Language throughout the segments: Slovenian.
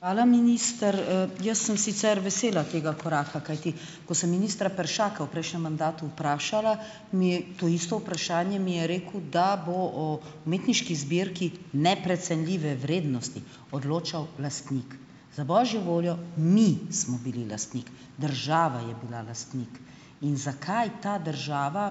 Hvala, minister. Jaz sem sicer vesela tega koraka, kajti ko sem ministra Peršaka v prejšnjem mandatu vprašala, mi je - to isto vprašanje - mi je rekel, da bo o umetniški zbirki neprecenljive vrednosti odločal lastnik. Za božjo voljo, mi smo bili lastnik. Država je bila lastnik. In zakaj ta država,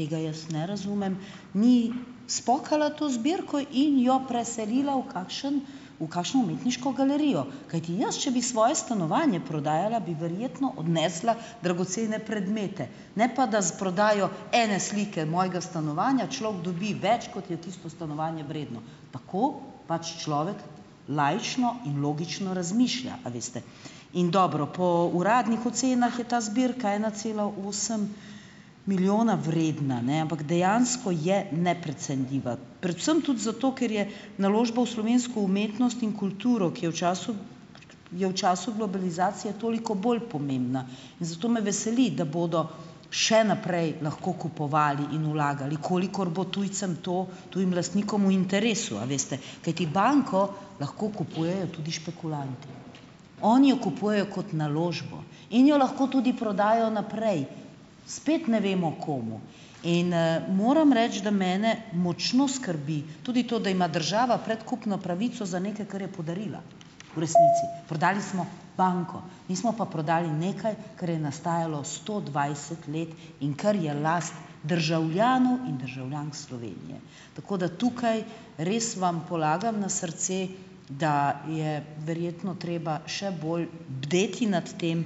tega jaz ne razumem, ni spokala to zbirko in jo preselila v kakšen v kakšno umetniško galerijo, kajti jaz, če bi svoje stanovanje prodajala, bi verjetno odnesla dragocene predmete, na pa da z prodajo ene slike mojega stanovanja človek dobi več, kot je tisto stanovanje vredno. Tako pač človek laično in logično razmišlja, a veste. In dobro, po uradnih ocenah je ta zbirka ena cela osem milijona vredna, ne, ampak dejansko je neprecenljiva. Predvsem tudi zato, ker je naložba v slovensko umetnost in kulturo, ki je v času je v času globalizacije toliko bolj pomembna. In zato me veseli, da bodo še naprej lahko kupovali in vlagali, kolikor bo tujcem to, tujim lastnikom, v interesu, a veste, kajti banko lahko kupujejo tudi špekulanti. Oni jo kupujejo kot naložbo in jo lahko tudi prodajo naprej. Spet ne vemo, komu. In, moram reči, da mene močno skrbi tudi to, da ima država predkupno pravico za nekaj, kar je podarila v resnici. Prodali smo banko, nismo pa prodali nekaj, kar je nastajalo sto dvajset let in kar je last državljanov in državljank Slovenije. Tako da tukaj, res vam polagam na srce, da je verjetno treba še bolj bdeti nad tem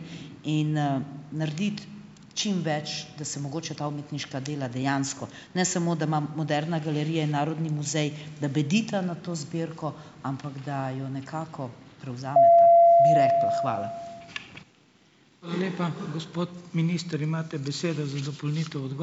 in, narediti čim več, da se mogoče ta umetniška dela dejansko, ne samo da ima Moderna galerija in Narodni muzej, da bdita nad to zbirko, ampak da jo nekako prevzameta, bi rekla. Hvala.